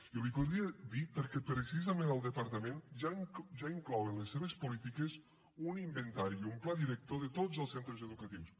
i l’hi podria dir perquè precisament el departament ja inclou en les seves polítiques un inventari i un pla director de tots els centres educatius